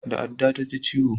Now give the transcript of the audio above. Da adda ta ji ciwo